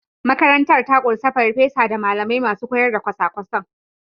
Makarantar ta ƙunshi farfesa da malamai masu koyar da kwasa-kwasan.